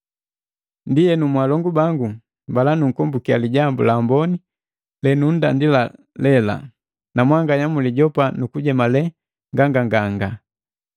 Ndienu mwalongu bangu mbala nunkombukiya Lijambu la Amboni lenundandila lela, na mwanganya mwilijopa nukujemale nganganga.